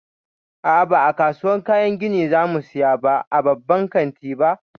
A'a, ba a kasuwan kayan gini za mu saya ba a babban kanti ba.